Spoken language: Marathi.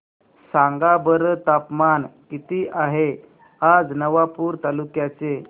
सांगा बरं तापमान किता आहे आज नवापूर तालुक्याचे